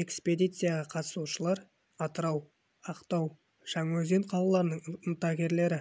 экспедицияға қатысушылар атырау ақтау жаңаөзен қалаларының ынтагерлері